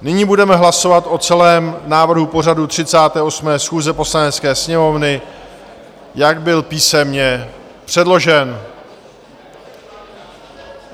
Nyní budeme hlasovat o celém návrhu pořadu 38. schůze Poslanecké sněmovny, jak byl písemně předložen.